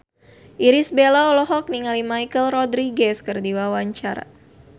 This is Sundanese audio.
Irish Bella olohok ningali Michelle Rodriguez keur diwawancara